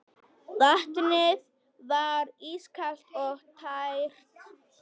Vatnið var ískalt og tært.